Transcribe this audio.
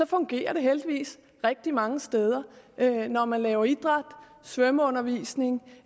fungerer det heldigvis rigtig mange steder når man laver idræt svømmeundervisning